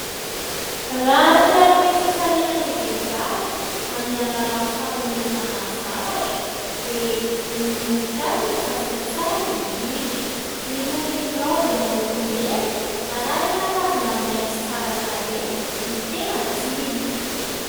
Raha te hanome fifaliana ny vehivavy amin'ny alalan'ny fanomezana zavatra, dia ny voninkazo no safidy tsara indrindra. Irony raozy miloko mena arahina ravina maitso tsara tarehy no tena tiany.